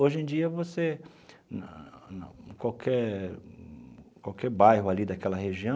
Hoje em dia você, qualquer qualquer bairro ali daquela região,